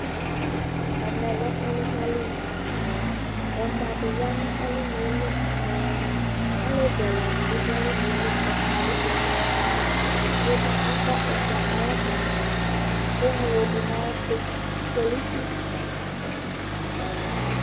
ɛmɛ lɛ ɔlunaliɛmɔ di ya nu ɔlunɛli alevi ɛla di bi du ɔlunɛli ɛfɔa du edigbo bi akɔ ɛmɔ ayɛkɔtɔ ke ŋlo du ayɛtu polisi